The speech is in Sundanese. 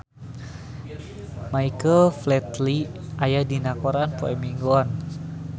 Michael Flatley aya dina koran poe Minggon